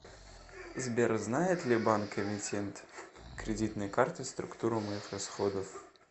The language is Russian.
сбер знает ли банк эмитент кредитной карты структуру моих расходов